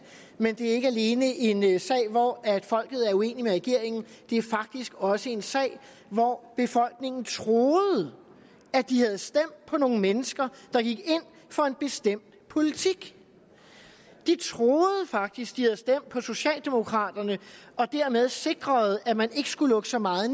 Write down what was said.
men det er ikke alene en sag hvor folket er uenig med regeringen det er faktisk også en sag hvor befolkningen troede at de havde stemt på nogle mennesker der gik ind for en bestemt politik de troede faktisk de havde stemt på socialdemokraterne og dermed sikret at man ikke skulle lukke så meget